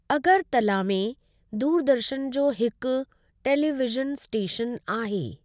अगरतला में दूरदर्शन जो हिकु टेलीविज़न स्टेशनु आहे।